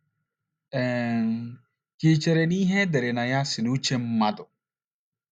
um Ka ì chere na ihe e dere na ya si n’uche mmadụ?